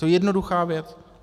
To je jednoduchá věc.